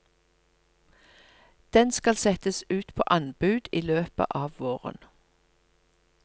Den skal settes ut på anbud i løpet av våren.